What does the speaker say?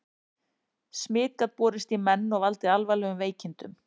Smit gat borist í menn og valdið alvarlegum veikindum.